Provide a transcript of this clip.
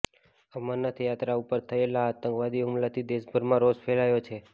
અમરનાથ યાત્રા ઉપર થયેલા આતંકવાદી હુમલાથી દેશભરમાં રોષ ફેલાયો છે